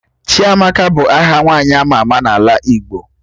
Chiamaka bụ aha nwaanyị ama ama n'ala Igbo